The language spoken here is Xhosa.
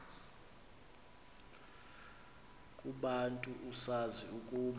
kubantu usazi ukuba